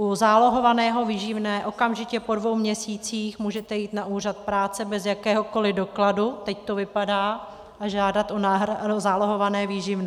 U zálohovaného výživného okamžitě po dvou měsících můžete jít na úřad práce bez jakéhokoli dokladu, teď to vypadá, a žádat o zálohované výživné.